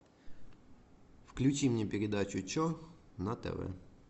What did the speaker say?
включи мне передачу че на тв